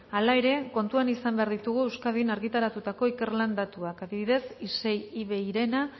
hala ere kontuan izan behar ditugu euskadin argitaratutako ikerlan datuak adibidez isei iveirena